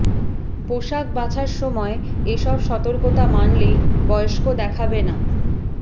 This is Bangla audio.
পোশাক বাছার সময় এ সব সতর্কতা মানলেই বয়স্ক দেখাবে না